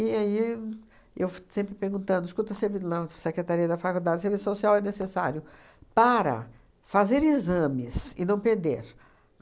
E aí, eu f sempre perguntando, escuta, secretaria da faculdade, serviço social é necessário para fazer exames e não perder.